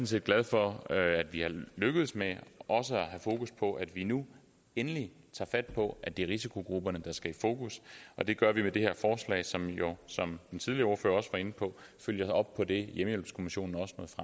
set glad for at vi er lykkedes med også at have fokus på at vi nu endelig tager fat på at det er risikogrupperne der skal i fokus og det gør vi med det her forslag som jo som den tidligere ordfører var inde på følger op på det hjemmehjælpskommissionen